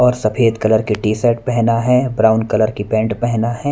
और सफेद कलर के टी शर्ट पहना है। ब्राउन कलर की पेंट पहना है।